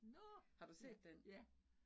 Nåh ja, ja